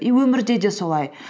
и өмірде де солай